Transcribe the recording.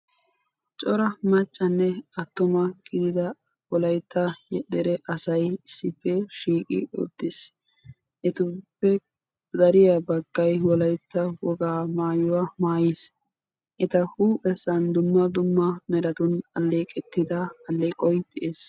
Cora maccanne attuma gidida wolaytta dere asay issippe shiiqi uttiis. etuppe dariyaa baggay wolaytta wogaa maayuwaa maayiis. eta huuphphessan dumma dumma elleqettida alleeqoy de'ees. .